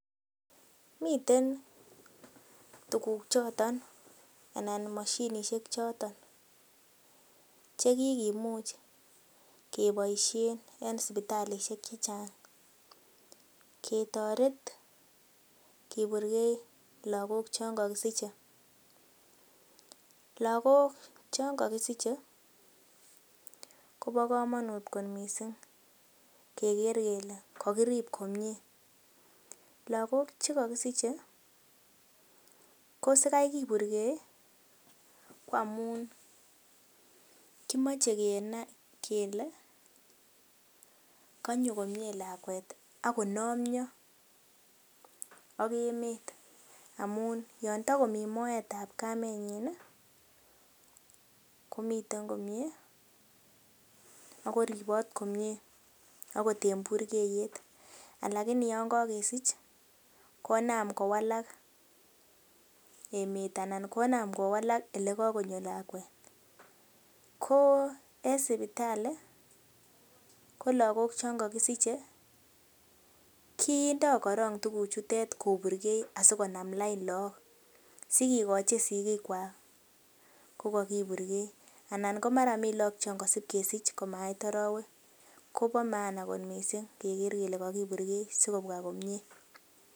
Miten tuguk choton anan moshinishek choton che kigimuch keboisien en sipitalisiek che chang ketoret kiburgei lagok chon kogisiche. Lagok chon kogisiche kobo komonut kot mising keger kele kogirib komye. Lagok ch ekogisiche kosikai kiburge ko amun kimoche keger kele konyo komye lakwet ak konomyo ak emet amun yon tago mi moetab kamenyin komiten komye ago ripot komye agot en burkeyet. Lakini yon kogesich konam kowalak emet anan konam kowalak ole kagonyo lakwet. Ko en sipitali ko lagok chon kogisiche kindo korong tuguchutet koburgei asikonam lain lagok asikigochin sikikwak kogokiburgei. Anan komara mi lagok chon kosib kesich komait arawek ko bo maana mising keger kele kogiburhei sikobwa komye.